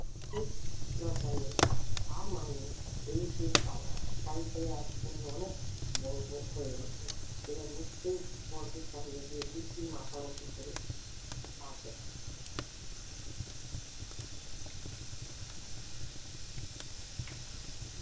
ধুস দরকার নেই আর মানিয়ে এই বেশ ভালো শাড়ি পরে আজ হুমু অনেক বড় হয়ে গেছে এবার নিশ্চয়ই বড়দের সামনে গিয়ে দিব্বি মাথা উঁচু করে পারবে